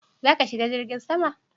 Za ka shiga jirgin sama?